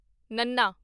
ਨੱਨਾ